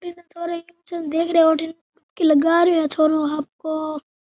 छोरा पिक्चर देख रहा है उठीन की लगा रो है छोरो आपको।